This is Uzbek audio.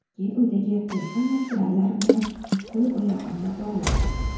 Keyin uydagi qiyqim materiallar bilan qo‘l-oyog‘imni bog‘ladi.